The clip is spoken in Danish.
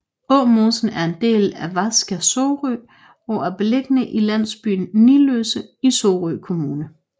Åmosen der er en del af Vasac Sorø er beliggende i landsbyen Niløse i Sorø Kommune